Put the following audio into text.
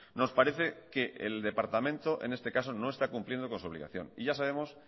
nos parece que el departamento en este caso no está cumpliendo con su obligación y ya sabemos